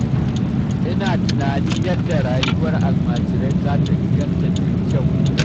Ina tunanin yadda rayuwar almajirai za ta inganta ta yi kyau.